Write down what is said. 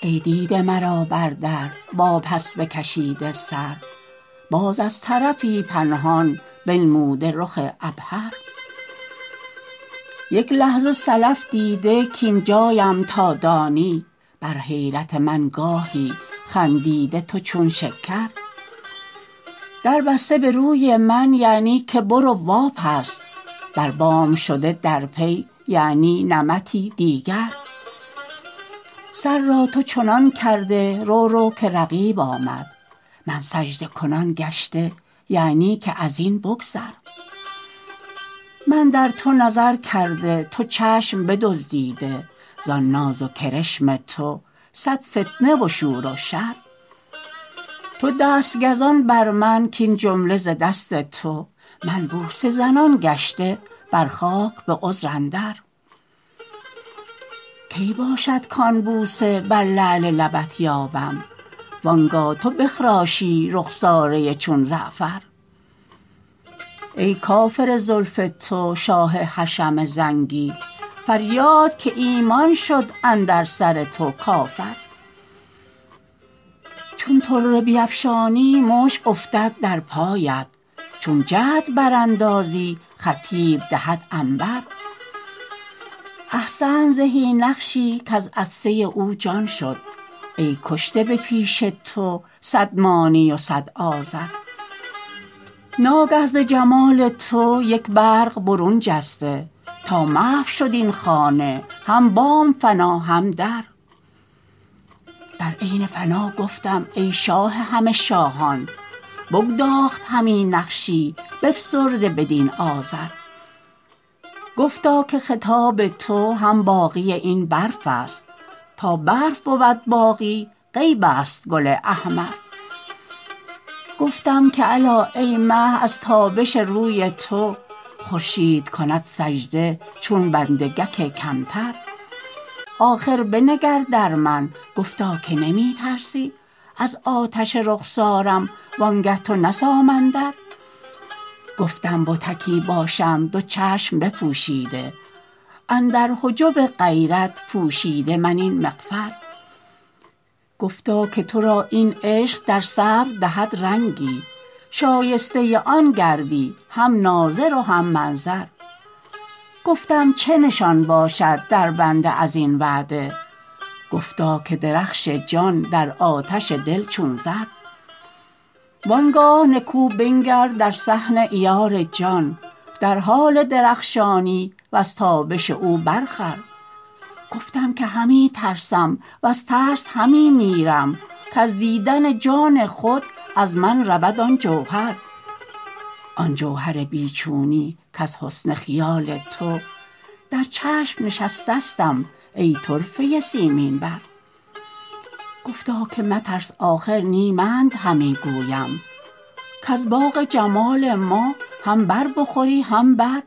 ای دیده مرا بر در واپس بکشیده سر باز از طرفی پنهان بنموده رخ عبهر یک لحظه سلف دیده کاین جایم تا دانی بر حیرت من گاهی خندیده تو چون شکر در بسته به روی من یعنی که برو واپس بر بام شده در پی یعنی نمطی دیگر سر را تو چنان کرده رو رو که رقیب آمد من سجده کنان گشته یعنی که از این بگذر من در تو نظر کرده تو چشم بدزدیده زان ناز و کرشم تو صد فتنه و شور و شر تو دست گزان بر من کاین جمله ز دست تو من بوسه زنان گشته بر خاک به عذر اندر کی باشد کان بوسه بر لعل لبت یابم وان گاه تو بخراشی رخساره چون زعفر ای کافر زلف تو شاه حشم زنگی فریاد که ایمان شد اندر سر تو کافر چون طره بیفشانی مشک افتد در پایت چون جعد براندازی خطیت دهد عنبر احسنت زهی نقشی کز عطسه او جان شد ای کشته به پیش تو صد مانی و صد آزر ناگه ز جمال تو یک برق برون جسته تا محو شد این خانه هم بام فنا هم در در عین فنا گفتم ای شاه همه شاهان بگداخت همی نقشی بفسرده بدین آذر گفتا که خطاب تو هم باقی این برق است تا برق بود باقی غیب است گل احمر گفتم که الا ای مه از تابش روی تو خورشید کند سجده چون بنده گک کمتر آخر بنگر در من گفتا که نمی ترسی از آتش رخسارم وانگه تو نه سامندر گفتم بتکی باشم دو چشم بپوشیده اندر حجب غیرت پوشیده من این مغفر گفتا که تو را این عشق در صبر دهد رنگی شایسته آن گردی هم ناظر و هم منظر گفتم چه نشان باشد در بنده از این وعده گفتا که درخش جان در آتش دل چون زر وان گاه نکو بنگر در صحن عیار جان در حال درخشانی وز تابش او برخور گفتم که همی ترسم وز ترس همی میرم کز دیدن جان خود از من رود آن جوهر آن جوهر بی چونی کز حسن خیال تو در چشم نشستستم ای طرفه سیمین بر گفتا که مترس آخر نی منت همی گویم کز باغ جمال ما هم بر بخوری هم بر